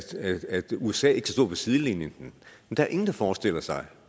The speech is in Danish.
usa ikke skal stå på sidelinjen der er ingen der forestiller sig